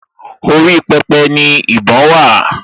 Orí pẹpẹ ni ìbọn wà